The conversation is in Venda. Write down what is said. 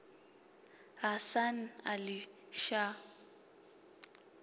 hasan ali shah